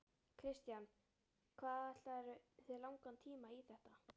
Kristján: Hvað ætlarðu þér langan tíma í þetta?